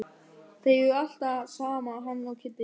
Þeir eru alltaf saman hann og Kiddi.